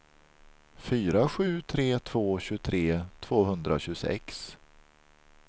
fyra sju tre två tjugotre tvåhundratjugosex